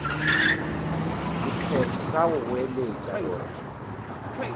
sephetho sa go goeletša gore